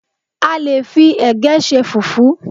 A lè fi ẹ̀gẹ́ ṣe fùfú